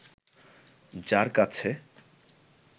যার কাছে